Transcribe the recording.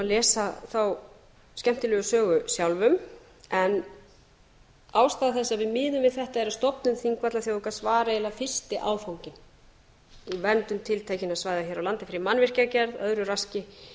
lesa þá skemmtilegu sögu sjálfum en ákvað þetta að við miðum við eiginlega fyrsti áfanginn í verndun tiltekinna svæða hér á landi fyrir mannvirkjagerð öðru raski